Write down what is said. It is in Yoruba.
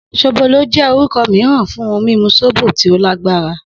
Sobolo jẹ́ orúkọ mìíràn fún ohun mímu sóbò tí ó lágbára.